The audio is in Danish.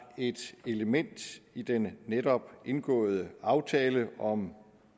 et element i den netop indgåede aftale om